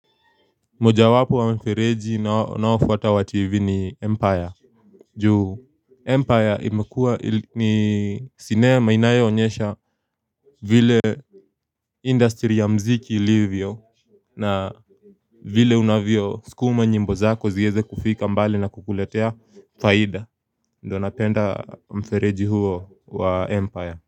Moja wapo wa mfereji ninaoufuata wa tv ni empire juu Empire imekuwa ni sinema inayoonyesha vile industry ya mziki ilivyo na vile unavyo sukuma nyimbo zako ziweze kufika mbali na kukuletea faida ndo napenda mfereji huo wa empire.